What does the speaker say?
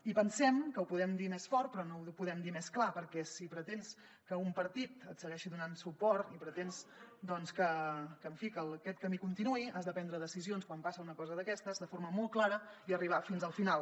i pensem que ho podem dir més fort però no ho podem dir més clar perquè si pretens que un partit et segueixi donant suport i pretens doncs en fi que aquest camí continuï has de prendre decisions quan passa una cosa d’aquestes de forma molt clara i arribar fins al final